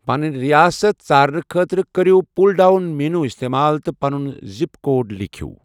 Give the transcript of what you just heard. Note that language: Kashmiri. پنٕنۍ ریاست ژارنہٕ خٲطرٕ کٔرِو پل ڈاؤن مینو استعمال تہٕ پَنُن زِپ کوڈ لیکھو۔